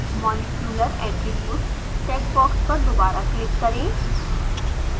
molecular attributes check box पर दोबारा click करें